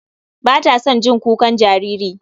Ba ta son jin kukan jariri.